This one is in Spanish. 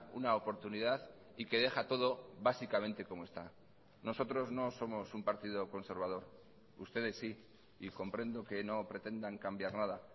una oportunidad y que deja todo básicamente como está nosotros no somos un partido conservador ustedes sí y comprendo que no pretendan cambiar nada